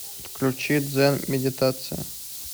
включи дзен медитация